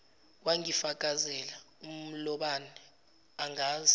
wangifakazela umlobane angazi